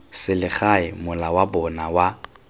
selegae mola wa bona wa